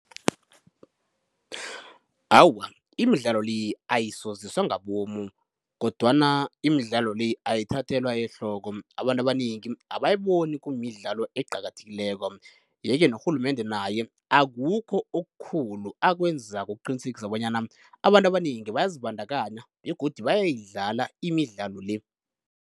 Awa, imidlalo le ayisoziswa ngabomu, kodwana imidlalo le ayithathelwa ehloko, abantu abanengi abayiboni kumidlalo eqakathekileko. Yeke norhulumende naye akukho okukhulu akwenzako ukuqinisekisa bonyana abantu abanengi bayazibandakanya begodu bayayidlala imidlalo le.